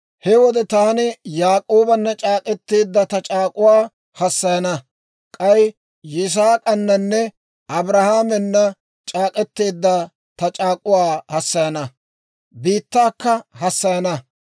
he wode taani Yaak'oobana c'aak'k'eteedda ta c'aak'uwaa hassayana; k'ay Yisaak'ananne Abrahaamena c'aak'k'eteedda ta c'aak'uwaa hassayana; biittaakka hassayana.